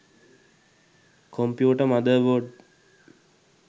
computer mother board